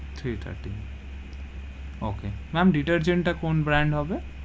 three thirteen okay, ma'am detergent তা কোন brand হবে?